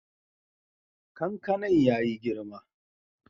Kankanan ya yi girma.